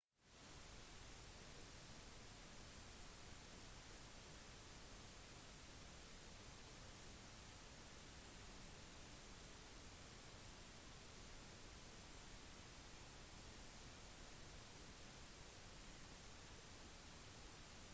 etter hvert noterte den greske historikeren strabo navnet slik vi vet om det i vår tid tempelet ble ødelagt den natten alexander den store kom til verden